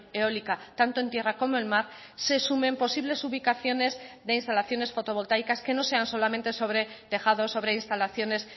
eólica tanto en tierra como en mar se sumen posibles ubicaciones de instalaciones fotovoltaicas que no sean solamente sobre tejados sobre instalaciones